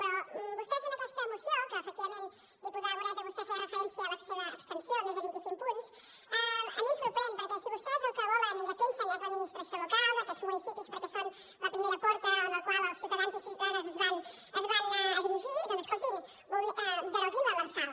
però vostès en aquesta moció que efectivament diputada moreta vostè feia referència a la seva extensió més de vint i cinc punts a mi em sorprenen perquè si vostès el que volen i defensen és l’administració local d’aquests municipis perquè són la primera porta a la qual els ciutadans i ciutadanes es dirigeixen doncs escoltin deroguin l’lrsal